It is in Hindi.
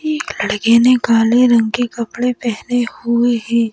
एक लड़के ने काले रंग के कपड़े पहने हुए हैं।